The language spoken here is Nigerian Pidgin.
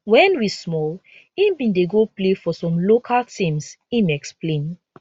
wen we small im bin dey go play for some local teams im explain